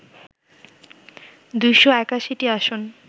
২৮১টি আসন